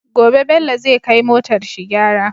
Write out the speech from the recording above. Gobe bello zai kai motar shi gyara